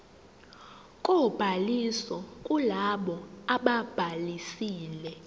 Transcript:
kobhaliso kulabo ababhalisile